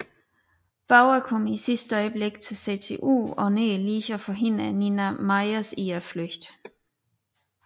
Bauer kommer i sidste øjeblik til CTU og når lige at forhindre Nina Myers i at flygte